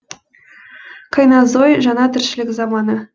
кайнозой жаңа тіршілік заманы